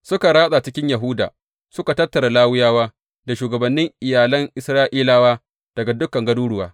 Suka ratsa cikin Yahuda suka tattara Lawiyawa da shugabannin iyalan Isra’ilawa daga dukan garuruwa.